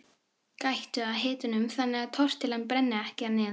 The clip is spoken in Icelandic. Gættu að hitanum þannig að tortillan brenni ekki að neðan.